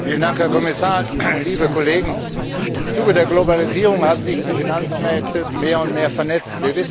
Herr Präsident, Herr Kommissar, liebe Kollegen! Im Zuge der Globalisierung haben sich die Finanzmärkte mehr und mehr vernetzt.